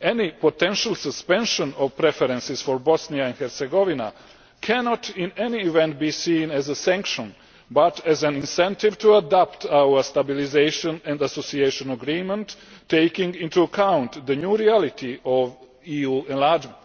Any potential suspension of preferences for Bosnia and Herzegovina cannot, in any event, be seen as a sanction, but as an incentive to adopt our Stabilisation and Association Agreement taking into account the new reality of EU enlargement.